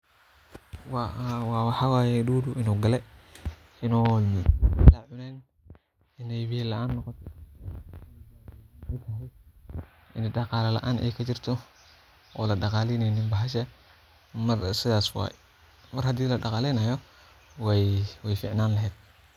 Waxa waye dudu inu gale inu ine cuneen iney biyo laan noqote iney daqalo laan ey kajirto oo ladaqa leneynin bahasha sidhas waye mar hadii ladaqa lenayo wey ficnan lehedh.